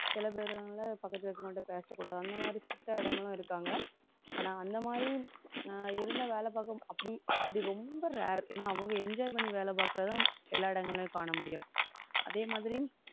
சில பேருனால, பக்கத்து இருக்கவங்ககிட்ட பேசக்கூடாது. அந்த மாதிரி strict ஆ இடங்களும் இருக்காங்க. ஆனா, அந்த மாதிரி நான் இருந்தா வேலை பார்க்க அப்படி, அப்படி ரொம்ப rare. ஏன்னா, அவங்க enjoy பண்ணி வேலை பார்க்கிறது எல்லா இடங்களையும் காண முடியும். அதே மாதிரி,